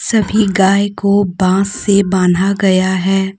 सभी गाए को बांस से बांधा गया है।